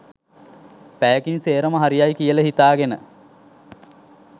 පැයකින් සේරම හරි යයි කියලා හිතාගෙන.